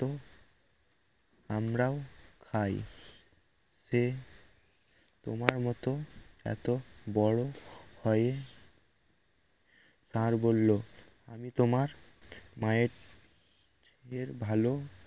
আমরাও খাই সে তোমার মত এত বড় হয়ে ষাড় বলল আমি তোমার মায়ের ভালো